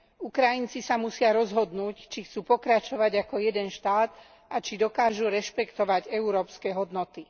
Ukrajinci sa musia rozhodnúť, či chcú pokračovať ako jeden štát a či dokážu rešpektovať európske hodnoty.